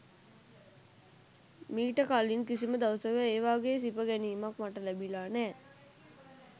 මීට කලින් කිසිම දවසක ඒ වගේ සිප ගැනීමක් මට ලැබිලා නෑ.